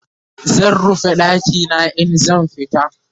zan rufe ɗakina in zan fita